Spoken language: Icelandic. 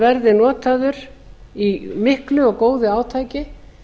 verði notaður í miklu og góðu átaki